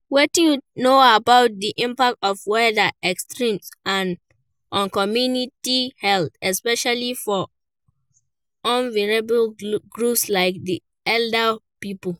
Wetin you know about di impact of weather extremes on community health, especially for vulnerable groups like di elderly people.